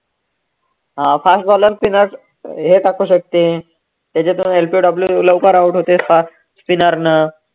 अं fast bowler spinner हे टाकू शकते, त्याच्यातून LPW लवकर out होते fast spinner नं